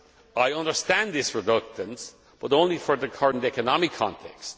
I understand this reluctance, but only for the current economic context.